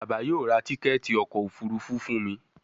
Bàbá yóò rá Tíkẹ́ẹ̀tì ọkọ̀ òfurufú fún mí